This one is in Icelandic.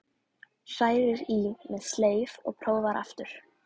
Hrærir í með sleif og prófar aftur.